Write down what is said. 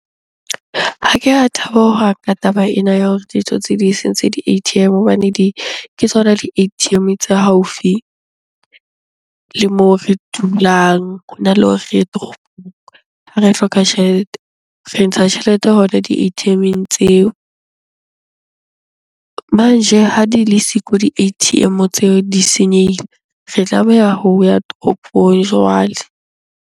Ha ke a thaba hohang ka taba ena ya hore ditsotsi di sentse di-A_T_M hobane di, ke tsona di-A_T_M tse haufi le moo re dulang hona le hore re ye ha re hloka tjhelete. Re ntsha tjhelete hona di-A_T_M-eng tseo. Manje ha di le siko di-A_T_M tseo di senyehile, re tlameha ho ya toropong jwale.